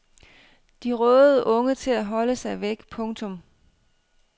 De rådede unge til at holde sig væk. punktum